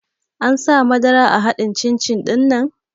An sa madara a haɗin cin-cin ɗinnan?